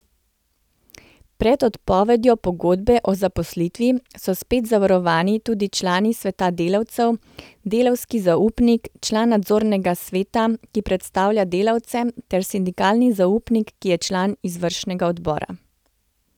Pred odpovedjo pogodbe o zaposlitvi so spet zavarovani tudi član sveta delavcev, delavski zaupnik, član nadzornega sveta, ki predstavlja delavce, ter sindikalni zaupnik, ki je član izvršnega odbora.